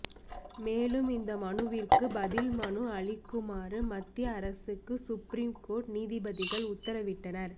மேலும் இந்த மனுவிற்கு பதில் மனு அளிக்குமாறு மத்திய அரசுக்கு சுப்ரீம் கோர்ட் நீதிபதிகள் உத்தரவிட்டனர்